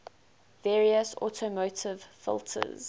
various automotive filters